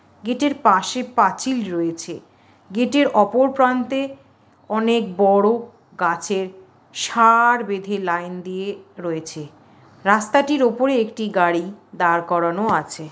গেটের পাশে পাঁচিল রয়েছে গেটের অপর প্রান্তে অনেক বড়ো গাছের সা-আ-আর বেঁধে লাইন দিয়ে রয়েছে রাস্তাটির ওপরে একটি গাড়ি দাঁড় করানো আছে।